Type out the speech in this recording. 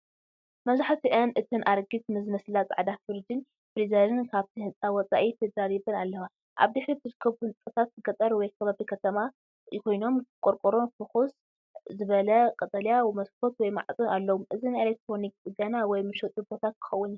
መብዛሕትአን እተን ኣረጊት ዝመስላ ጻዕዳ ፍሪጅን ፍሪዘርን ካብቲ ህንጻ ወጻኢ ተደራሪበን ኣለዋ። ኣብ ድሕሪት ዝርከቡ ህንጻታት ገጠር ወይ ከባቢ ከተማ ኮይኖም፡ ቆርቆሮን ፍኹስ ዝበለ ቀጠልያ መስኮት/ማዕጾን ኣለዎም። እዚ ናይ ኤሌክትሮኒክስ ጽገና ወይ መሸጢ ቦታ ክኸውን ይኽእል።